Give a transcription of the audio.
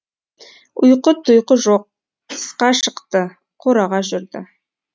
ұйқы тұйқы жоқ тысқа шықты қораға жүрді